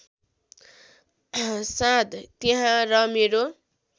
साँध त्यहाँ र मेरो